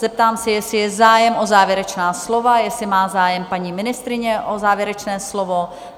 Zeptám se, jestli je zájem o závěrečná slova, jestli má zájem paní ministryně o závěrečné slovo?